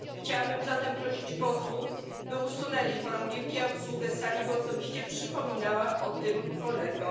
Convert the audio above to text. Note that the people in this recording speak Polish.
Chciałabym zatem prosić posłów, by usunęli chorągiewki, a obsługę sali, by osobiście przypominała o tym kolegom.